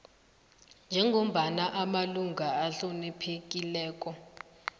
njengombana amalunga ahloniphekileko